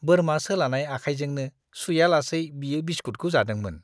बोरमा सोलानाय आखायजोंनो सुयालासै बियो बिसकुटखौ जादोंमोन!